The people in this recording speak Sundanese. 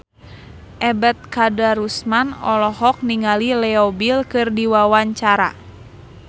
Ebet Kadarusman olohok ningali Leo Bill keur diwawancara